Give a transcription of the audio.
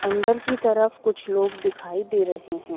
अंदर की तरफ कुछ लोग दिखाई दे रहे हैं।